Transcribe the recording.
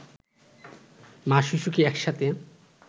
মা-শিশুকে একসাথে